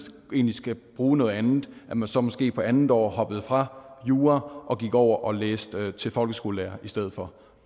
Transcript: egentlig skal bruge noget andet så måske på andet år hopper fra jura og går over og læser til folkeskolelærer i stedet for